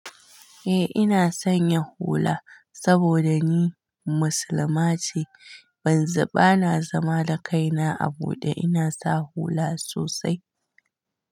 Eh ina sanya hula saboda ni musulma ce. Ban za bana zama l da kaina a bude. Ina sa hula sosai.